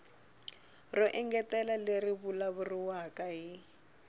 ro engetela leri vulavuriwaka hi